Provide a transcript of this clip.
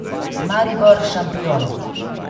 Maribor, šampion.